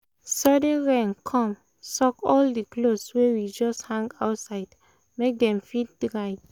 sudden rain come soak all the clothes wey we just hang outside make dem fit dry